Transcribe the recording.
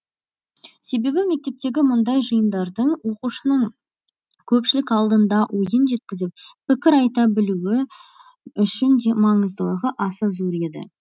себебі мектептегі мұндай жиындардың оқушының көпшілік алдында ойын жеткізіп пікір айта білуі үшін де маңыздылығы аса зор еді